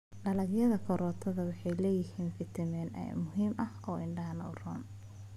Dalagyada karootada waxay leeyihiin fiitamiin A muhiim ah oo indhaha u roon.